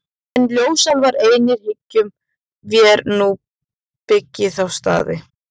En ljósálfar einir hyggjum vér að nú byggi þá staði.